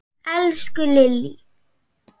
Elsku Lillý!